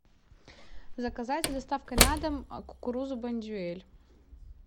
заказать с доставкой на дом кукурузу бондюэль